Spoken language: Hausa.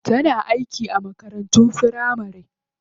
Tana aiki a makarantun firamari.